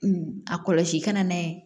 a kɔlɔsi kana n'a ye